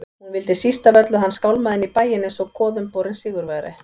Hún vildi síst af öllu að hann skálmaði inn í bæinn einsog goðumborinn sigurvegari.